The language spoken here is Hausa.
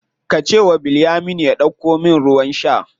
Ka ce wa Bilyaminu ya ɗauko min ruwan sha.